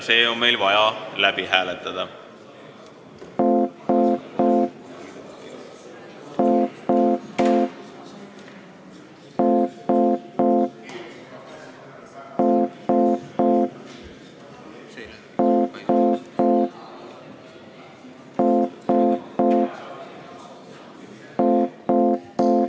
See ettepanek on vaja läbi hääletada.